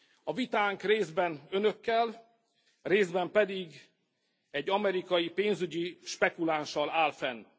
A vitánk részben Önökkel, részben pedig egy amerikai pénzügyi spekulánssal áll fenn.